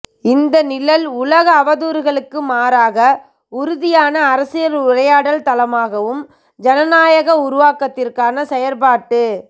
இந்த நிழல் உலக அவதூறுகளுக்கு மாறாக உறுதியான அரசியல் உரையாடல் தளமாகவும் ஜனநாயக உருவாக்கத்திற்கான செயற்பாட்டு